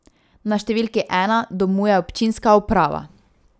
Na številki ena domuje občinska uprava.